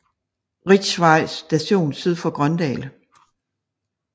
Richs Vej Station syd for Grøndal